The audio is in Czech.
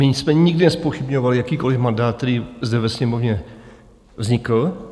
My jsme nikdy nezpochybňovali jakýkoliv mandát, který zde ve Sněmovně vznikl.